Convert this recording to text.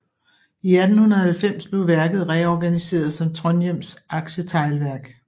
I 1890 blev værket reorganiseret som Trondhjems Aktieteglverk